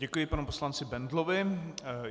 Děkuji panu poslanci Bendlovi.